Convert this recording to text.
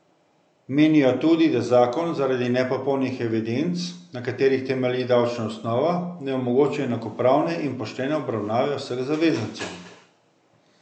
Menijo tudi, da zakon zaradi nepopolnih evidenc, na katerih temelji davčna osnova, ne omogoča enakopravne in poštene obravnave vseh zavezancev.